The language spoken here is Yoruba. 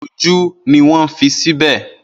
Irun-ojú ni mo ń fi sìbẹ̀.